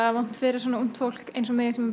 vont fyrir ungt fólk eins og mig sem er